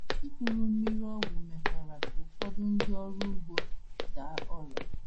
Ikuru mmiri ọgwụ mekwara ka ụfọdụ ndị ọrụ ugbo daa ọrịa.